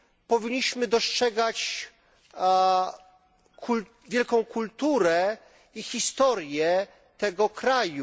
Powinniśmy dostrzegać wielką kulturę i historię tego kraju.